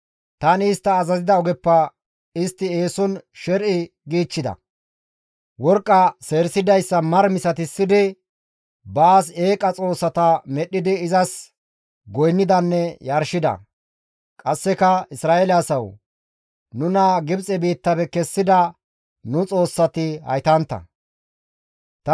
Tani istta azazida ogeppe istti eeson sher7i giichchida. Worqqa seerisidayssa mara misatissidi, baas eeqa xoossata medhdhidi izas goynnidanne yarshida. Qasseka, ‹Isra7eele asawu! Nuna Gibxe biittafe kessida nu xoossati haytantta› gida.